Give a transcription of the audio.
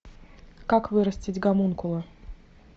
как вырастить гомункула